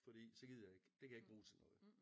Fordi så gider jeg ikke det kan jeg ikke bruge til noget